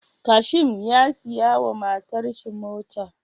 Kashim ya siya wa matar shi mota